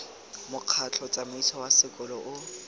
mokgatlho tsamaiso wa sekolo o